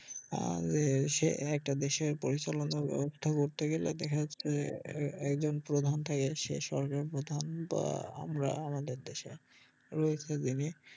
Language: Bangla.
আর সে একটা দেশের পরিচালনা ব্যবস্থা করতে গেলে দেখা যাচ্ছে যে এ~ একজন প্রধান থাকে সে সরকার প্রধান বা আমরা আমাদের দেশে রয়েছে যিনি